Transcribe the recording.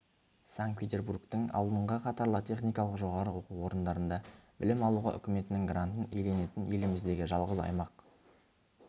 санкт-петербургтің алдыңғы қатарлы техникалық жоғары оқу орындарында білім алуға үкіметінің грантын иеленетін еліміздегі жалғыз аймақ